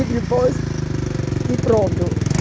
E depois... E pronto. E